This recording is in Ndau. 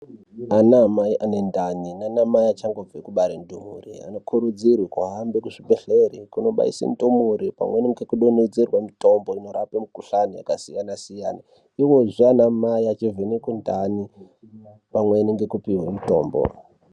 Ana mai ane ndani nana mai achangobve kubare ndumure ano kurudzirwe kuhambe ku zvibhedhleri kuno baise ndumure pamweni ngeku donhedzerwe mitombo inorapa mukuhlani yaka siyana siyana ivozve ana mai achi vhenekwe ndani pamweni ngeku pihwe mutombo.